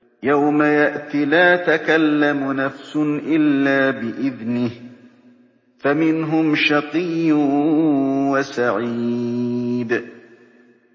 يَوْمَ يَأْتِ لَا تَكَلَّمُ نَفْسٌ إِلَّا بِإِذْنِهِ ۚ فَمِنْهُمْ شَقِيٌّ وَسَعِيدٌ